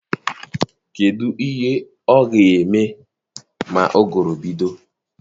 Kedụ ihe ọ ga-eme ma ụgụrụ bido?